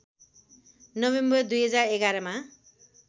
November २०११ मा